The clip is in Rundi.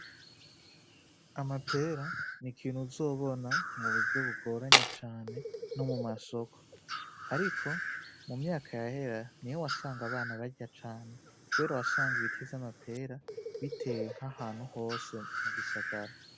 Amapera ni ikintu uzobona mu buryo bugoranye cane no mu masoko. Ariko mu myaka yahera niho wasanga abana barya cane kubera wasanga ibiti vy'amapera bitewe nk'ahantu hose mu bisagara.